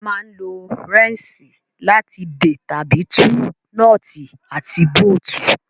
A máa ń lo rẹ́ńṣì láti dè tàbí tú nọ́ọ́tì àti bóótù